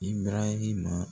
Ibirahima